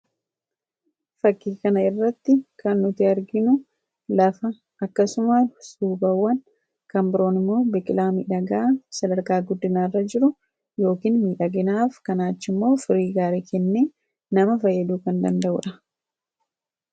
Fakkii kana irratti kan nuti arginu lafa akkasuma suubawwan kan biroon immoo biqilaa midhagaa sadarkaa guddinaarra jiru yookiin midhaginaaf kanaa achimmoo firii gaarii kennee nama fayyaduu kan danda'uu dha